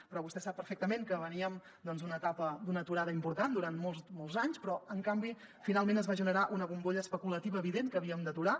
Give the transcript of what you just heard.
però vostè sap perfectament que veníem doncs d’una etapa d’una aturada important durant molts anys però en canvi finalment es va generar una bombolla especulativa evident que havíem d’aturar